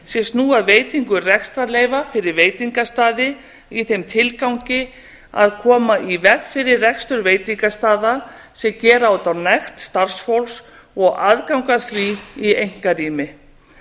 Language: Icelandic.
sem snúa að veitingu rekstrarleyfa fyrir veitingastaði í þeim tilgangi að koma í veg fyrir rekstur veitingastaða sem gera út á nekt starfsfólks og aðgang að því í einkarými